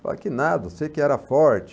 Fala que nada, sei que era forte.